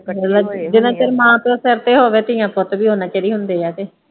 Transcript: ਜਿਨ੍ਹਾਂ ਚਿਰ ਮਾਂ ਪਿਓ ਸਿਰ ਤੇ ਹੋਵੇ ਧੀਆਂ ਪੁੱਤ ਵੀ ਉਨ੍ਹਾਂ ਚਿਰ ਹੀ ਹੁੰਦੇ ਆ ਤੇ।